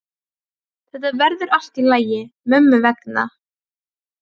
Þetta verður allt í lagi mömmu vegna.